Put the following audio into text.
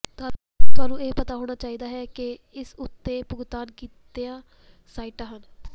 ਤੁਹਾਨੂੰ ਇਹ ਪਤਾ ਹੋਣਾ ਚਾਹੀਦਾ ਹੈ ਕਿ ਇਸ ਉੱਤੇ ਭੁਗਤਾਨ ਕੀਤੀਆਂ ਸਾਈਟਾਂ ਹਨ